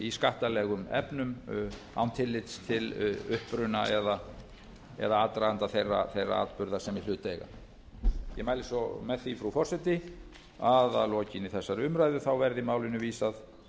í skattalegum efnum án tillits til uppruna eða aðdraganda þeirra atburða sem í hlut eiga ég mæli svo með því frú forseti að að lokinni þessari umræðu verði málinu vísað